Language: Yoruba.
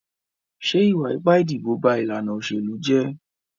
Ṣé ìwà ipá ìdìbò ba ìlànà òṣèlú jẹ́?